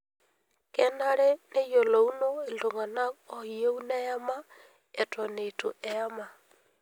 Kenare neyiolouno iltung'ana ooyieu neyama eton eitu eyama.